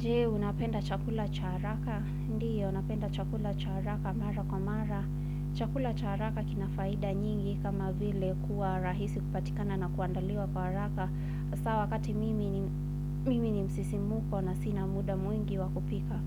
Jee, unapenda chakula cha haraka. Ndiyo, napenda chakula cha haraka mara kwa mara. Chakula cha haraka kina faida nyingi kama vile kuwa rahisi kupatikana na kuandaliwa kwa haraka. Hasa wakati mimi ni msisimuko na sina muda mwingi wa kupika.